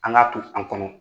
An k'a to an kɔnɔ